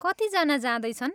कति जना जाँदैछन्?